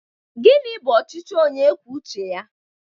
Gịnị bụ ọchịchị onye kwuo uche ya?